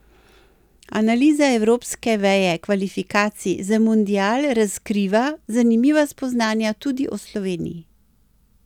Analiza evropske veje kvalifikacij za mundial razkriva zanimiva spoznanja tudi o Sloveniji.